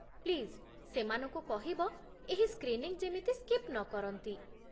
please ସେମାନଙ୍କୁ କହିବ ଏହି ସ୍କ୍ରିନିଂ ଯେମିତି ସ୍କିପ୍ ନକରନ୍ତି